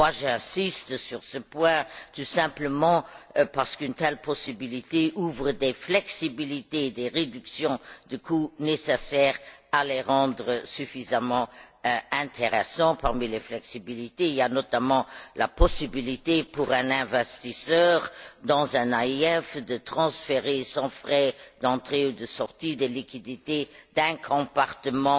J'insiste sur ce point tout simplement parce qu'une telle possibilité apporte les flexibilités et les réductions de coûts nécessaires pour les rendre suffisamment intéressants. Parmi les flexibilités, il y a notamment la possibilité, pour un investisseur dans un AIF, de transférer sans frais d'entrée ou de sortie des liquidités d'un compartiment